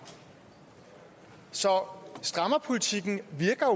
så strammerpolitikken virker